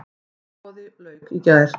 Útboði lauk í gær.